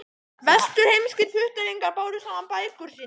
Vesturheimskir puttalingar báru saman bækur sínar.